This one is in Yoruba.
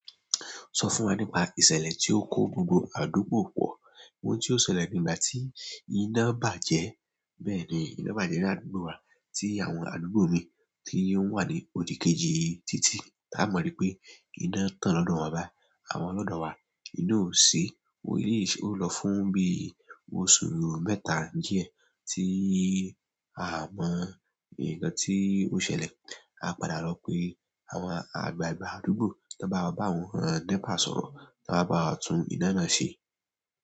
Sọ fún wa nípa ìṣẹ̀lẹ̀ tí ó kó gbogbo àdúgbò pọ̀. Ohun tí ó ṣẹlẹ̀ ni ìgbà tí iná bàjẹ́. Bẹ́ẹ̀ni, iná bàjẹ́ ní àdúgbò wa tí àwọn àdúgbò mi tí ó ń wà ní odi kejì títí ta mọ̀ ri pé iná tán lọ́dọ̀ won bai àmo lọ́dọ̀ wa. Ina ò ṣí, èyí ṣe ó lọ fún bí oṣù mẹ́ta diẹ, tí a mọ nkàn tí ó ṣẹlẹ̀. A padà lò pé àwọn àgbààgbà àdúgbò tan bá wa bá àwọn nepa sọ̀rọ̀, wọn wa báwa tún iná náà ṣe.